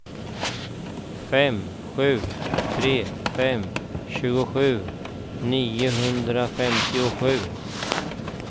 fem sju tre fem tjugosju niohundrafemtiosju